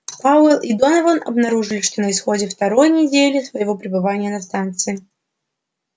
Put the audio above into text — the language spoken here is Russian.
пауэлл и донован обнаружили это на исходе второй недели своего пребывания на станции